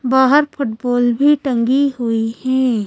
बाहर फुटबॉल भी टंगी हुई है।